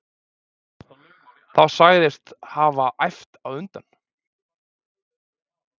Þá sagðist hafa æft á undan.